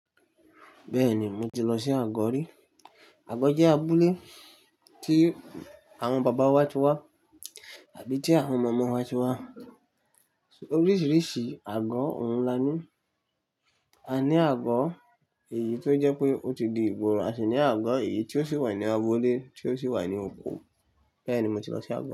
Bẹ́ẹ̀ni, mo ti lọ sí agọ́ rí. Agọ́ jẹ́ abúlé tí àwọn bàbá wa ti wá àbí tí àwọn màmá wa ti wá. Oríṣìíríṣìí agọ́ òun la ní. A ní agọ́ èyí tó jẹ́ pé ó ti di ìgboro, a sì ní agọ́ èyí tí ó sì wà ní abo ilé, tí ó sì wà ní oko. Bẹ́ẹ̀ni, mo ti lọ sí agọ́